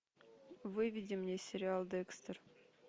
выведи мне сериал декстер